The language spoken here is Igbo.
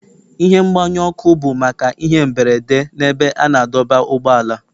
Ihe mgbanyụ ọkụ bụ maka ihe mberede n'ebe a na-adọba ụgbọala.